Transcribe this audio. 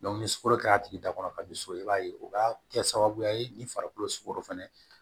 ni sukoro kɛra a tigi dakɔrɔ ka bi so i b'a ye o b'a kɛ sababuya ye ni farikolo sukoro fɛnɛ